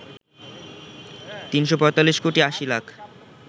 ৩৪৫ কোটি ৮০ লাখ